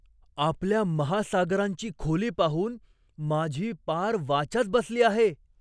आपल्या महासागरांची खोली पाहून माझी पार वाचाच बसली आहे!